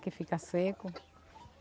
Que fica seco.